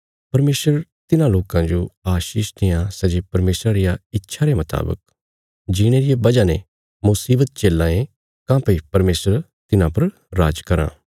परमेशर तिन्हां लोकां जो आशीष देआं सै जे परमेशरा रिया इच्छा रे मुतावक जीणे रिया बजह ने मुशीवत झेल्लां ये काँह्भई परमेशर तिन्हां पर राज कराँ